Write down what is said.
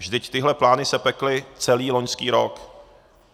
Vždyť tyhle plány se pekly celý loňský rok.